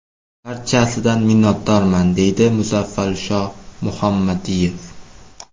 Barchasidan minnatdorman”, deydi Mufazzalsho Muhammadiyev.